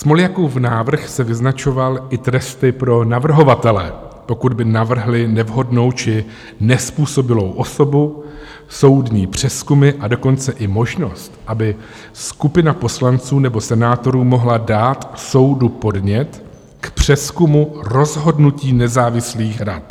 Smoljakův návrh se vyznačoval i tresty pro navrhovatele, pokud by navrhli nevhodnou či nezpůsobilou osobu, soudní přezkumy, a dokonce i možnost, aby skupina poslanců nebo senátorů mohla dát soudu podnět k přezkumu rozhodnutí nezávislých rad.